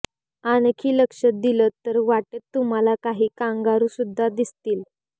आणखी लक्ष दिलंत तर वाटेत तुम्हाला काही कांगारूसुद्धा दिसतील